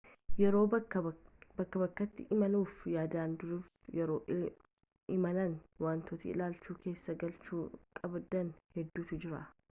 yeroo bakkaa bakkatti imaaluuf yaaddan duraafi yeroo imalaa wantoota ilaalcha keessa galchuu qabdan hedduutu jiru